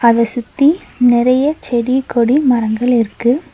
அத சுத்தி நெறைய செடி கொடி மரங்கள் இருக்கு.